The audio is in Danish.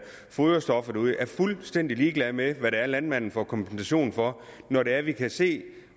foderstoffer er fuldstændig ligeglade med hvad landmanden får kompensation for når det er at vi kan se